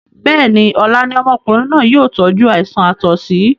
Bẹ́ẹ̀ni, ọlá ni ọmọkùnrin náà yìí ó tọju àìsàn àtọ̀sí